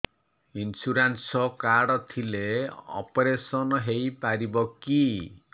insurance card ଥିଲେ operation ହେଇପାରିବ କି